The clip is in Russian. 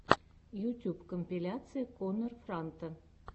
ютьюб компиляция коннор франта